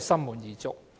心滿意足。